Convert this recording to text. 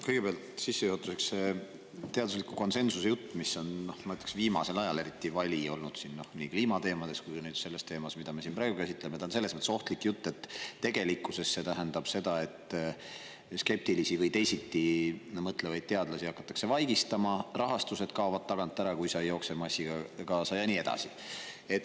Kõigepealt sissejuhatuseks see teadusliku konsensuse jutt, mis on, ma ütleks, viimasel ajal eriti vali olnud nii kliimateemade puhul kui ka nüüd selle teema puhul, mida me siin praegu käsitleme, on ohtlik selles mõttes, et tegelikkuses see tähendab seda, et skeptilisi või teisiti mõtlevaid teadlasi hakatakse vaigistama, rahastus kaob tagant ära, kui nad ei jookse massiga kaasa, ja nii edasi.